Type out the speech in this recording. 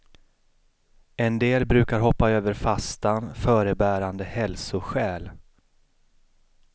En del brukar hoppa över fastan förebärande hälsoskäl.